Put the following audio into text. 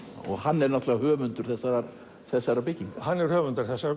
og hann er náttúrulega höfundur þessarar þessarar byggingar hann er höfundur þessarar